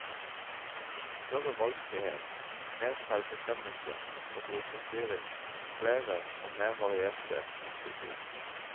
Større valgfrihet, mer selvbestemmelse og brukerstyring, flere og mer varierte botilbud.